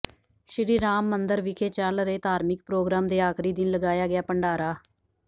ਸ਼੍ਰੀ ਰਾਮ ਮੰਦਿਰ ਵਿਖੇ ਚੱਲ ਰਹੇ ਧਾਰਮਿਕ ਪ੍ਰੋਗਰਾਮ ਦੇ ਆਖ਼ਰੀ ਦਿਨ ਲਗਾਇਆ ਗਿਆ ਭੰਡਾਰਾ